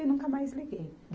E nunca mais liguei.